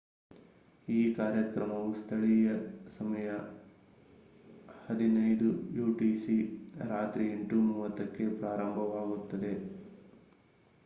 ಈ ಕಾರ್ಯಕ್ರಮವು ಸ್ಥಳೀಯ ಸಮಯ 15.00 utc ರಾತ್ರಿ 8:30ಕ್ಕೆ ಪ್ರಾರಂಭವಾಯಿತು